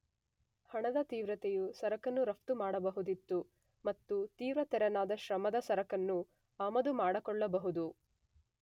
ಹಣದ, ತೀವ್ರತೆಯ ಸರಕನ್ನು ರಫ್ತು ಮಾಡಬಹುದಿತ್ತು ಮತ್ತು ತೀವ್ರತೆರನಾದ ಶ್ರಮದ ಸರಕನ್ನು ಆಮದು ಮಾಡಿಕೊಳ್ಳಬಹುದು.